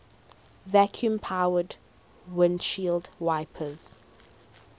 vacuum powered windshield wipers